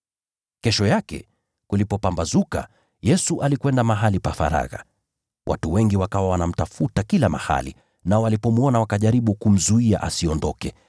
Kesho yake, kulipopambazuka, Yesu alikwenda mahali pa faragha. Watu wengi wakawa wanamtafuta kila mahali, nao walipomwona wakajaribu kumzuia asiondoke.